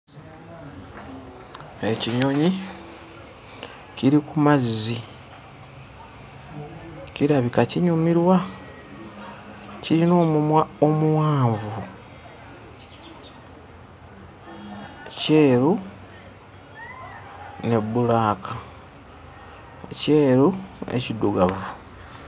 Ekinyonyi kiri ku mazzi. Kirabika kinyumirwa! Kirina omumwa omuwanvu, kyeru ne bbulaaka, ekyeru n'ekiddugavu.